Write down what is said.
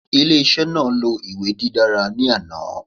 Ile-iṣẹ naa lo iwe didara ni ana